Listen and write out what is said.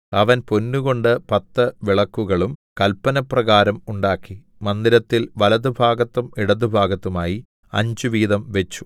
അവൻ പൊന്നുകൊണ്ട് പത്തു വിളക്കുകളും കൽപ്പനപ്രകാരം ഉണ്ടാക്കി മന്ദിരത്തിൽ വലത്തുഭാഗത്തും ഇടത്തുഭാഗത്തുമായി അഞ്ചുവീതം വെച്ചു